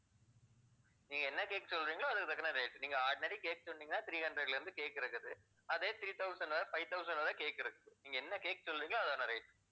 நீங்க என்ன cake சொல்றீங்களோ அதுக்கு தக்கன rate நீங்க ordinary cake சொன்னீங்கன்னா three hundred ல இருந்து cake இருக்குது. அதே three thousand வரை five thousand வரை cake இருக்குது. நீங்க என்ன cake சொல்றீங்களோ அதோட rate